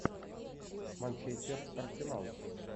манчестер арсенал